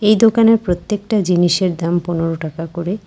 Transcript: এই দোকানের প্রত্যেকটা জিনিসের দাম পনেরো টাকা করে।